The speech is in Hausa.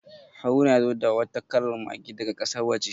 Haruna ya zo da wata kalar Mage daga kasar waje.